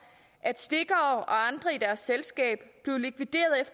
at stikkere og andre i deres selskab blev likvideret